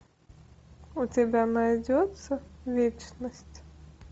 у тебя найдется вечность